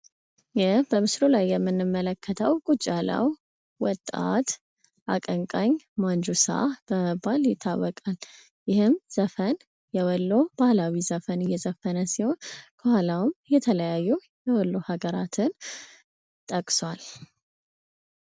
ይህ በምስሉ ላይ የምንመለከተው ቁጭ ያለው ወጣት አቀንቃኝ ማን ጁሳ በመባል ይታወቃል። ይሄም ዘፋኝ የወሎ ባህላዊ ዘፈን እየዘፈነ ሲሆን፤ ከኋላውም የተለያዩ የወሎ ሃገራትን ጠቅሷል።